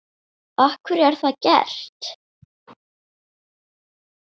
Af hverju er það gert?